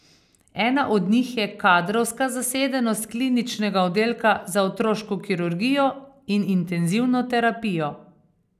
Ena od njih je kadrovska zasedenost kliničnega oddelka za otroško kirurgijo in intenzivno terapijo.